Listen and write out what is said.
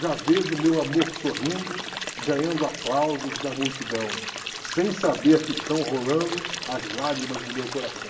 Já vejo meu amor sorrindo, ganhando aplausos da multidão, sem saber que estão rolando as lágrimas do meu coração.